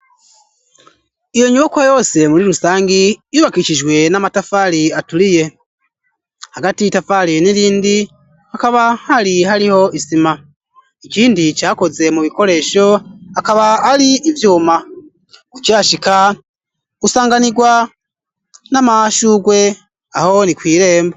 Iyo nyubako yose muri rusangi ,yubakicijwe n'amatafali aturiye ,hagati itafali n'irindi akaba hari hariho isima ,ikindi cakoze mu bikoresho akaba ari ivyuma ucashika usanganigwa n'amashugwe, aho ni kw'irembo.